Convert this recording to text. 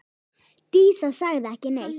Dísa sagði ekki neitt.